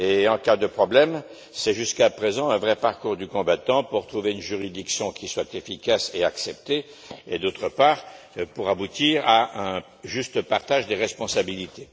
En cas de problème, c'est, jusqu'à présent, un vrai parcours du combattant pour trouver une juridiction qui soit efficace et acceptée et, d'autre part, pour aboutir à un juste partage des responsabilités.